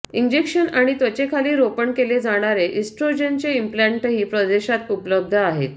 injection आणि त्वचेखाली रोपण केले जाणारे इस्ट्रोजेनचे इम्प्लाण्टही परदेशात उपलब्ध आहेत